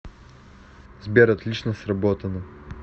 сбер отлично сработано